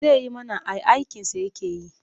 Zai yi mana ai aikinsa yake yi.